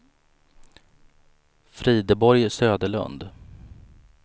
Frideborg Söderlund